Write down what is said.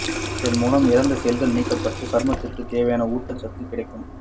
இதன் மூலம் இறந்த செல்கள் நீக்கபட்டு சருமத்திற்கு தேவையான ஊட்ட சத்து கிடைக்கும்